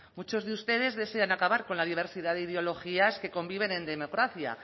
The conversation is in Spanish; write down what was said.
muchos de ustedes desean acabar con la diversidad de ideologías que conviven en democracia